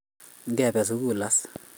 Ngebe sugul as.